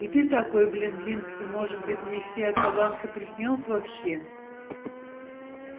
и ты такой блин блинский может мне все эта ланка приснилась вообще